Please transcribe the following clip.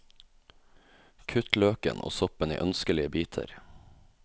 Kutt løken og soppen i ønskelige biter.